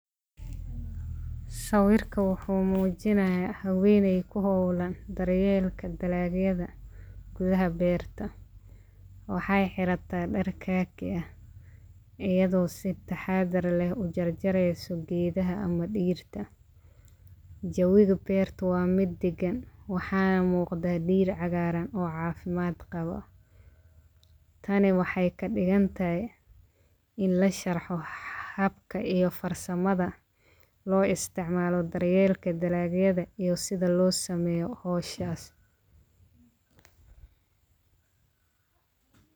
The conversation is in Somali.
Sawirkan waxuu muujinaya habeenay ku hawlan daryeelka dalagyada gudaha beerta. Waxay xirata dhar kaafi ah ayado si taxadar leh u jarjareyso geedaha ama dhirta. Jawiga beerta waa mid dagan waxaa muqda dhir cagaaran oo caafimad qabo. Tani waxay kadigantay in lasharxo habka iyo farsamada loo isticmaalo daryeelka dalagyada iyo sida loo sameyo hawshas.